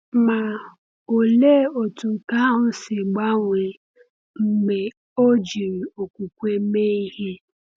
Ma, olee otú nke ahụ si gbanwee mgbe ọ jiri okwukwe mee ihe!